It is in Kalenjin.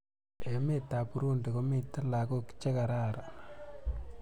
Emet ab Burundi komiten lakok che kararan